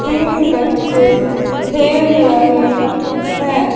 तीन बच्चे खेल रहे हैं।